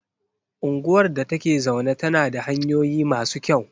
Unguwar da ta ke zaune tana da hanyoyi masu kyau.